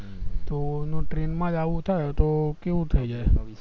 તો નો train માં આવુજ થાય તો કેવું થ જાય